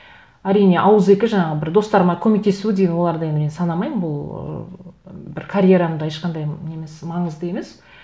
әрине ауызекі жаңағы бір достарыма көмектесу деген оларды енді мен санамаймын бұл ыыы бір карьерамда ешқандай не емес маңызды емес